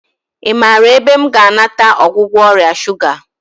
I maara ebe m ga-anata ọgwụgwọ ọrịa shuga?